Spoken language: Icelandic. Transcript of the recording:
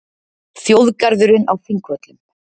Þjóðgarðurinn á Þingvöllum.